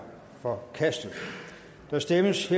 forkastet der stemmes